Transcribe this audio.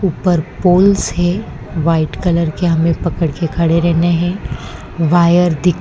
ऊपर पोल्स है white colour के हमें पकड़ के खड़े रहना है वायर दि --